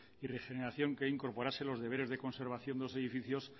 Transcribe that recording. y regeneración que incorporase los deberes de conservación de los edificios